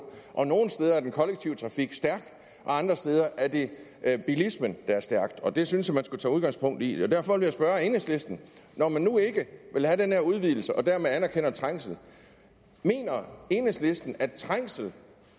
nogle steder er den kollektive trafik stærk og andre steder er det bilismen der er stærk og det synes jeg man skulle tage udgangspunkt i derfor vil jeg spørge enhedslisten når man nu ikke vil have den her udvidelse og dermed anerkender trængsel mener enhedslisten så at trængsel